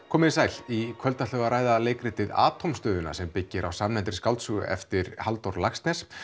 komiði sæl í kvöld ætlum við að ræða leikritið Atómstöðina sem byggir á samnefndri skáldsögu eftir Halldór Laxness